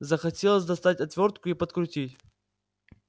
захотелось достать отвёртку и подкрутить